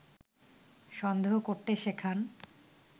সন্দেহ করতে শেখান